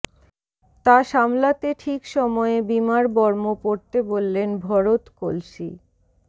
তা সামলাতে ঠিক সময়ে বিমার বর্ম পরতে বললেন ভরত কলসি